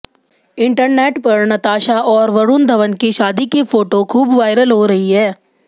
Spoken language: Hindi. इंटरनेट पर नताशा और वरुण धवन की शादी की फोटो खूब वायरल हो रही है